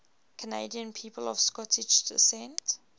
canadian people of scottish descent